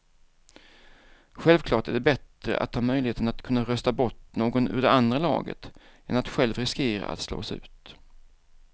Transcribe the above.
Självklart är det bättre att ha möjligheten att kunna rösta bort någon ur det andra laget än att själv riskera att slås ut.